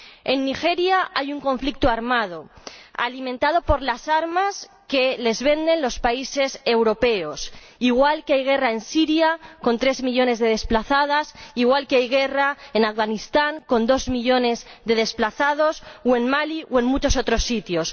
En Nigeria hay un conflicto armado, alimentado por las armas que les venden los países europeos, igual que hay guerra en Siria, con tres millones de desplazados, igual que hay guerra en Afganistán, con dos millones de desplazados, o en Mali o en muchos otros sitios.